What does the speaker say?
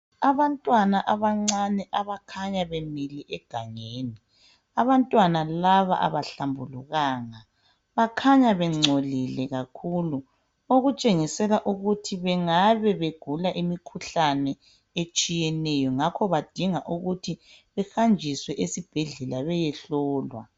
Abantwana abancane abakhanya bemile egangeni, abantwana laba abahlambulukanga bakhanya bengcolile kakhulu okutshengisela ukuthi bengabe begula imikhuhlane etshiyeneyo ngakho badinga ukuthi behanjiswe esibhedlela beyehlolwa.